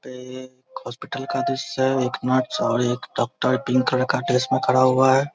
ये एक हॉस्पिटल का दृश्य है एक नर्स और डॉक्टर ग्रीन कलर का ड्रेस में खड़ा हुआ है।